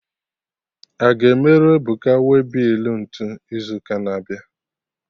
Aga emerụ Ebuka waybill ntụ izu ụka na-abịa?